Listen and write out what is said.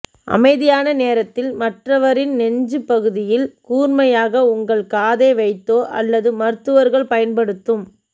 அமைதியான நேரத்தில் மற்றவரின் நெஞ்சுப் பகுதியில் கூர்மையாக உங்கள் காதை வைத்தோ அல்லது மருத்துவர்கள் பயன்படுத்தும்